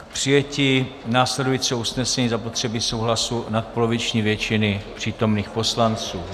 K přijetí následujícího usnesení je zapotřebí souhlasu nadpoloviční většiny přítomných poslanců.